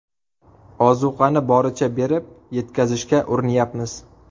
Ozuqani boricha berib, yetkazishga urinyapmiz.